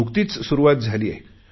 नुकतीच सुरुवात झाली आहे